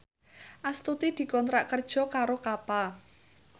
Astuti dikontrak kerja karo Kappa